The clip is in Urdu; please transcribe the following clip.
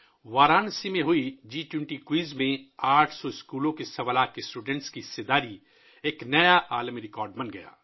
وارانسی میں منعقدہ جی 20 کوئز میں 800 اسکولوں کے سوا لاکھ طلباء کی شرکت ایک نیا عالمی ریکارڈ بن گئی